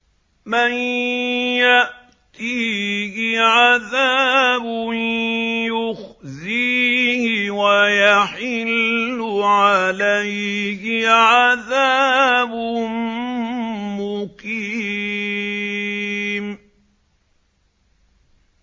مَن يَأْتِيهِ عَذَابٌ يُخْزِيهِ وَيَحِلُّ عَلَيْهِ عَذَابٌ مُّقِيمٌ